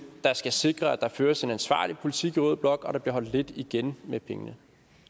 der skal sikre at der føres en ansvarlig politik i rød blok og at der bliver holdt lidt igen med pengene